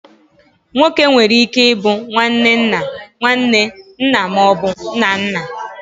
Nwoke nwere ike ịbụ nwanne nna, nwanne, nna ma ọ bụ nna nna.